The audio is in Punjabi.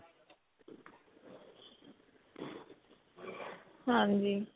ਹਾਂਜੀ